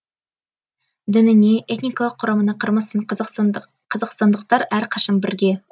дініне этникалық құрамына қарамастан қазақстандықтар әрқашан бірге